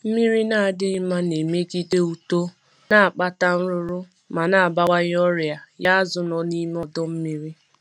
Mmiri na-adịghị mma na-emegide uto, na-akpata nrụrụ, ma na-abawanye ọrịa nye azu nọ n'ime ọdu mmiri